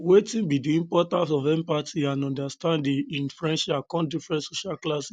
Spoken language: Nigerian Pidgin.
wetin be di importance of empathy and understanding in friendships across different social classes